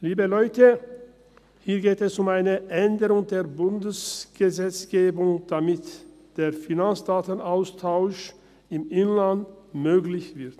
Liebe Leute, hier geht es um eine Änderung der Bundesgesetzgebung, damit der Finanzdatenaustausch im Inland möglich wird.